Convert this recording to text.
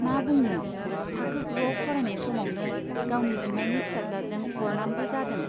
मा बुंनो , थाखो गुवाव फरायनाय समावनो गावनि बिमाइनि फिसाज्लाजों बरनामबो जादों।